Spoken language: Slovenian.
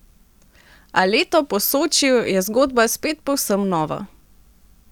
A leto po Sočiju je zgodba spet povsem nova.